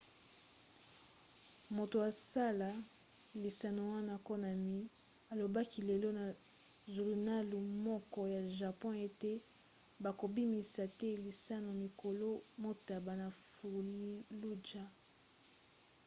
moto asala lisano wana konami alobaki lelo na zulunalu moko ya japon ete bakobimisa te lisano mikolo motoba na fallujah